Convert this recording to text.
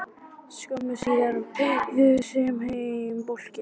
Skömmu síðar beygðu þau heim að blokkinni.